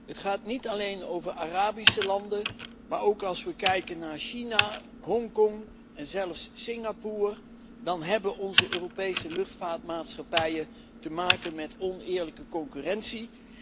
Het gaat niet alleen over Arabische landen, maar ook als we kijken naar China, Hongkong en zelfs Singapore, dan hebben onze Europese luchtvaartmaatschappijen te maken met oneerlijke concurrentie.